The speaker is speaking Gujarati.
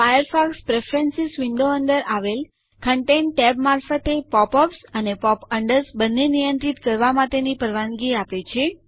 ફાયરફોક્સ પ્રેફરન્સ વિન્ડો અંદર આવેલ કન્ટેન્ટ ટેબ મારફતે પોપ અપ્સ અને પોપ અન્ડર્સ બન્ને નિયંત્રિત કરવા માટેની પરવાનગી આપે છે